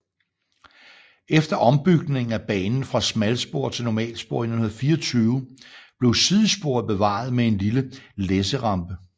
Efter ombygningen af banen fra smalspor til normalspor i 1924 blev sidesporet bevaret med en lille læsserampe